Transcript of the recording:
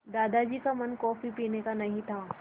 दादाजी का मन कॉफ़ी पीने का नहीं था